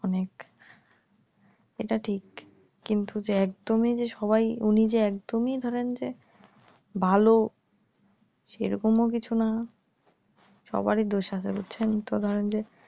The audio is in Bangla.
অনেক এটা ঠিক কিন্তু যে একদমই যে সবাই উনি যে একদমই ধরেন যে ভালো সেরকমও কিছু না সবারই দোষ আছে বুঝছেন তো ধরেন যে